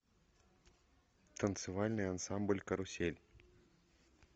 танцевальный ансамбль карусель